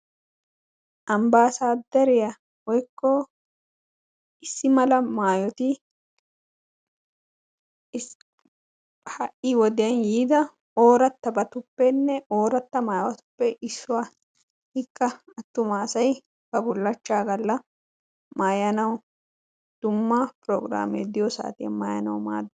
Ambbassaderiya woykko issi mala maayyoti ha'i wodiyan yiida ooratabatuppenne oorata maayotuppe issuwa. Ikka attumassay ba bulachcha galla maayanaw dumma pograme diyo saatiyan maayyanaw maaddees.